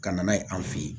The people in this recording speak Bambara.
Ka na n'a ye an fe yen